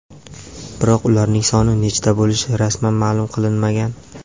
Biroq ularning soni nechta bo‘lishi rasman ma’lum qilinmagan.